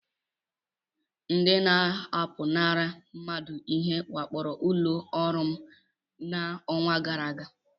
Ndị na-apụnara mmadụ ihe wakporo ụlọ ọrụ m n'ọnwa gara aga.